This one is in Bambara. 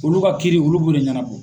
Olu ka kiiri olu b'o de ɲanabɔ.